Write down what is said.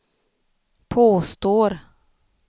påstår